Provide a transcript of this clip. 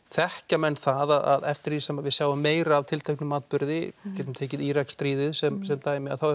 þekkja menn það að eftir því sem við sjáum meira af tilteknum atburði við getum tekið Íraksstríðið sem sem dæmi þá